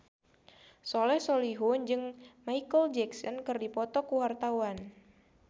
Soleh Solihun jeung Micheal Jackson keur dipoto ku wartawan